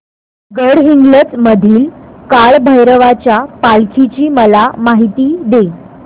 गडहिंग्लज मधील काळभैरवाच्या पालखीची मला माहिती दे